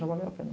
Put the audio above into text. Já valeu a pena.